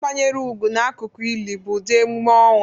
Ịkwanyere ugwu n'akụkụ ili bụ ụdị emume ọnwụ